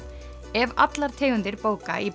ef allar tegundir bóka í